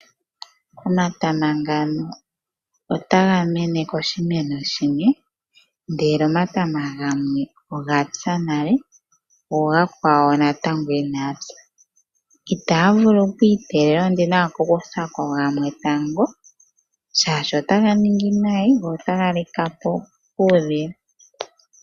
Omatama ngano, otaga mene ko shimeno shimwe, ndele omatama gamwe ogapya nale, go omakwawo natango Ina gapya. Itaga vulu okwii tegelela, ondina owala oku kutha ko gamwe tango shaashi otaga nongileko nayi, go otaga likapo kuudhila.